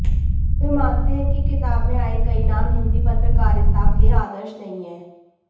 वे मानते हैं कि किताब में आए कई नाम हिन्दी पत्रकारिता के आदर्श नहीं हैं